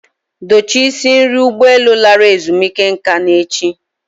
Dochie isi nri ụgbọ elu lara ezumike nka n'echi.